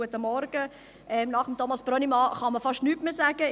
Nach Thomas Brönnimann kann man fast nichts mehr sagen.